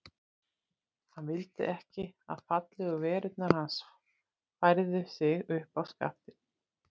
Hann vildi ekki að fallegu verurnar Hans færðu sig upp á skaftið.